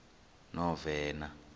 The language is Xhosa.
novena